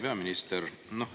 Hea peaminister!